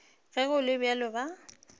ge go le bjalo ba